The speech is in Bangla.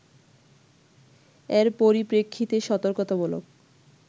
এর পরিপ্রেক্ষিতে সতর্কতামূলক